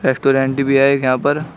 Restaurant भी है यहां पर।